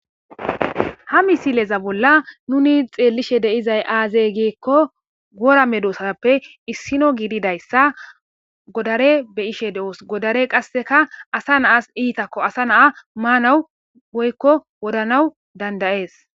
Ha misileza bolla nuni xeellishe deizay aazey giikko wora medosappe issino giididayssa godare beishe de7os godare qasseka asa naasi itakko asa na7a maanawu woykko wodhanaw dandayees.